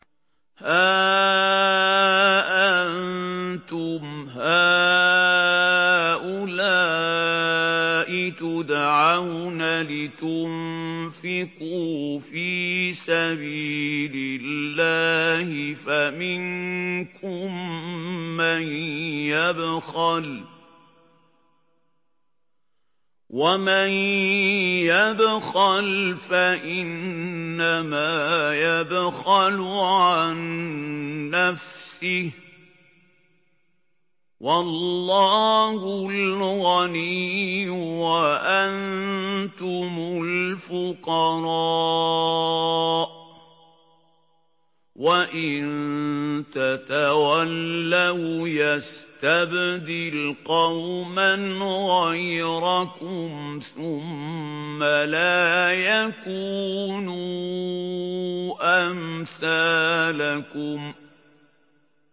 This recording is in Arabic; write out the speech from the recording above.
هَا أَنتُمْ هَٰؤُلَاءِ تُدْعَوْنَ لِتُنفِقُوا فِي سَبِيلِ اللَّهِ فَمِنكُم مَّن يَبْخَلُ ۖ وَمَن يَبْخَلْ فَإِنَّمَا يَبْخَلُ عَن نَّفْسِهِ ۚ وَاللَّهُ الْغَنِيُّ وَأَنتُمُ الْفُقَرَاءُ ۚ وَإِن تَتَوَلَّوْا يَسْتَبْدِلْ قَوْمًا غَيْرَكُمْ ثُمَّ لَا يَكُونُوا أَمْثَالَكُم